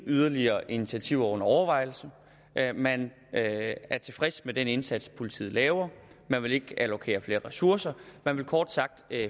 yderligere initiativer under overvejelse man er tilfreds med den indsats politiet laver man vil ikke allokere flere ressourcer man vil kort sagt